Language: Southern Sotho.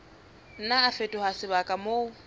nna a fetoha sebaka moo